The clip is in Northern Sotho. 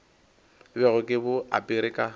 bego ke bo apere ka